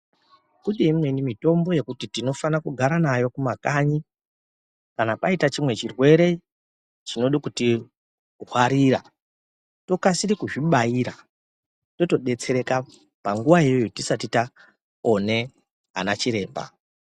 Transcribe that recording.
Kune imweni mitombo yekuti tinofana kugara nayo kumakanyi kana kwaita chimwe chirwere chinode kutingwarira utokasire kuzvibayire zvotodetsera panguwa iyoyo tisati tawone anachiremba.